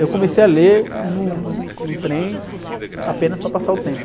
Eu comecei a ler no, no, no trem apenas para passar o tempo.